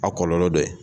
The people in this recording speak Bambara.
A kɔlɔlɔ dɔ ye